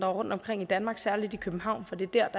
rundtomkring i danmark særlig i københavn for det er